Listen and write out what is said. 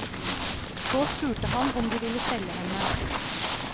Så spurte han om de ville selge henne.